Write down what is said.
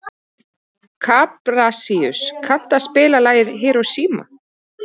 Kaprasíus, kanntu að spila lagið „Hiroshima“?